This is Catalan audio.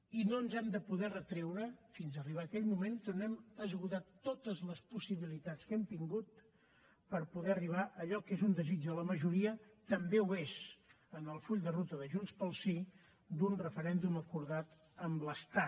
i no ens hem de poder retreure fins a arribar a aquell moment que no hem esgotat totes les possibilitats que hem tingut per poder arribar a allò que és un desig de la majoria també ho és en el full de ruta de junts pel sí un referèndum acordat amb l’estat